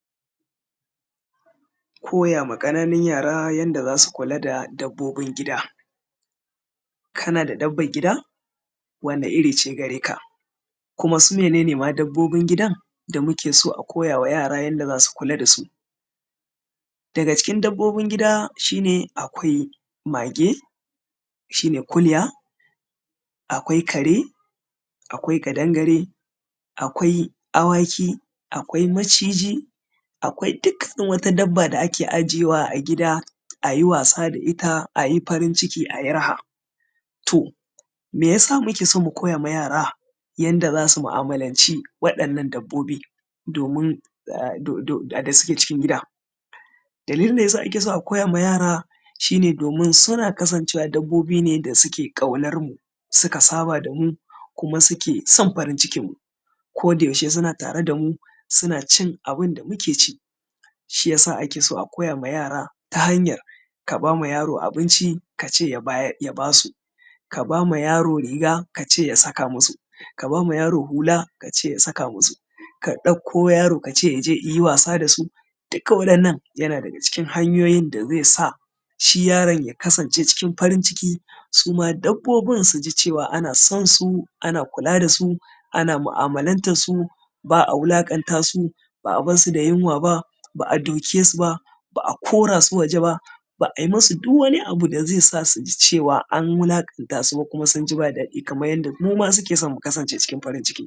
Koya ma ƙananun yara yanda za su kula da dabbobin gida. Kana da dabban gida? Wane iri ce gare ka? Kuma su mene ne ma dabbobin gidan da muke so a koya wa yara yanda za su kula da su? Daga cikin dabbobin gida shi ne akwai mage, shi ne kuliya, akwai kare, akwai ƙadangare, akwai awaki, akwai maciji, akwai dukkan wata dabba da ake ajiyewa a gida, a yi wasa da ita, a yi farinciki a yi raha. To, meyasa muke so mu koya ma yara yanda za su mu’amalanci waɗannan dabbobi domin ah do do da suke cikin gida? Dalilin da yasa ake so a koya ma yara shi ne domin suna kasancewa dabbobi ne da suke ƙaunarmu, suka saba da mu kuma suke son farincikinmmu, ko da yaushe suna tare da mu suna cin abin da muke ci, shiyasa ake so a koya ma yara ta hanyar ka ba ma yaro abinci ka ce ya basu, ka ba ma yaro riga ka ce ya saka masu, ka ba ma yaro hula ka ce ya saka masu, ka ɗauko yaro ka ce i je i yi wasa da su, dukkan waɗannan yana daga cikin hanyoyin da zai sa shi yaron ya kasance cikin farin ciki, su dabbobin su ji cewa ana son su, ana kula da su, ana mu’amalantan su, ba a wulaƙanta su, ba a barsu da yunwa ba, ba a duke su ba, ba a kora su waje ba, ba a ma su duk wani abu da zai sa su ji cewa an wulaƙanta su ba kuma sun ji ba daɗi kamar yanda mu ma suke so mu kasance cikin farin ciki.